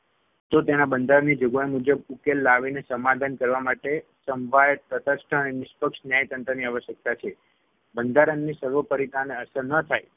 તો તેના બંધારણની જોગવાઈ મુજબ ઉકેલ લાવીને સમાધાન કરવા માટે સંભાયત તટસ્થ અને નિષ્પક્ષ ન્યાયતંત્રની આવશ્યકતા છે. બંધારણની સર્વોપરિતાને અસર ન થાય